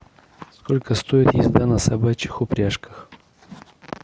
сколько стоит езда на собачьих упряжках